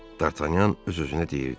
Dartanyan öz-özünə deyirdi.